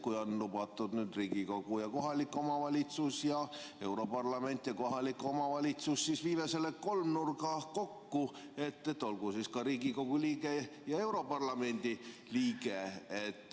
Kui on lubatud Riigikogu ja kohalik omavalitsus ning europarlament ja kohalik omavalitsus, siis viime selle kolmnurga kokku – olgu siis ka Riigikogu liige ja europarlamendi liige.